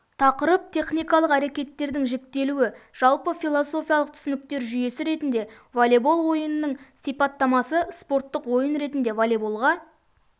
тақырып техникалық әрекеттердің жіктелуі жалпы философиялық түсініктер жүйесі ретінде волейбол ойынның сипаттамасы спорттық ойын ретінде волейболға